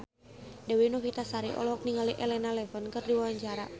Dewi Novitasari olohok ningali Elena Levon keur diwawancara